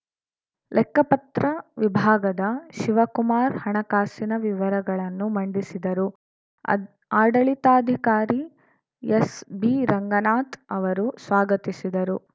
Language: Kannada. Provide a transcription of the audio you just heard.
ಲೆಕ್ಕಪತ್ರ ವಿಭಾಗದ ಶಿವಕುಮಾರ್‌ ಹಣಕಾಸಿನ ವಿವರಗಳನ್ನು ಮಂಡಿಸಿದರು ಅದ್ ಆಡಳಿತಾಧಿಕಾರಿ ಎಸ್‌ಬಿರಂಗನಾಥ್‌ ಅವರು ಸ್ವಾಗತಿಸಿದರು